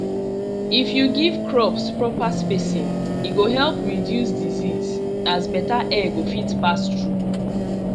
if you give crops proper spacing e go help reduce disease as better air go fit pass through